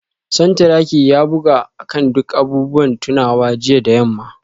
Santuraki ya buga akan duk abubuwan tunawa jiya da yamma